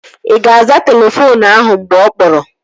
Ị ga-aza telefoonu ahụ mgbe ọ kpọrọ?